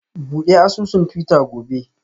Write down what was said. Bude asusun twitter gobe